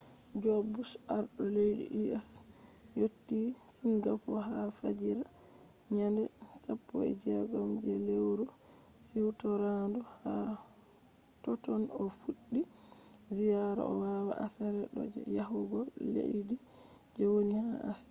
joj bush arɗo leddi us yotti singapo ha fajira nyande 16 je lewru siwtorandu. ha totton o fuɗɗi ziyaara o watta aseere ɗo je yahugo leddi je woni ha ashia